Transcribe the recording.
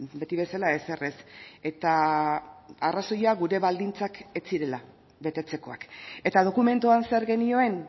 beti bezala ezer ez eta arrazoia gure baldintzak ez zirela betetzekoak eta dokumentuan zer genioen